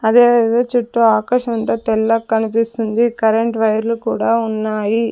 అదే విధ చుట్టూ ఆకాశం అంతా తెల్లగా కనిపిస్తుంది కరెంట్ వైర్ లు కూడా ఉన్నాయి.